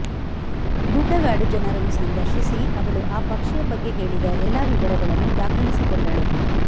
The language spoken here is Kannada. ಗುಡ್ಡಗಾಡು ಜನರನ್ನು ಸಂದರ್ಶಿಸಿ ಅವಳು ಆ ಪಕ್ಷಿಯ ಬಗ್ಗೆ ಹೇಳಿದ ಎಲ್ಲ ವಿವರಗಳನ್ನು ದಾಖಲಿಸಿಕೊಂಡಳು